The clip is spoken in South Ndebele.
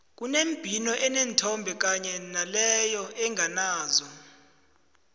kunembhino eneenthombe kanye naleyo enganazo